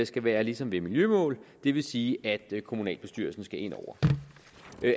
skal være ligesom ved miljømål det vil sige at kommunalbestyrelsen skal ind over